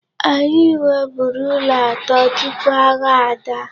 Anyị nweburu ụlọ atọ tupu agha ada.